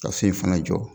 Ka so in fana jɔ